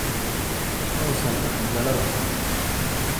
Ma uusan dhaqin dhalada.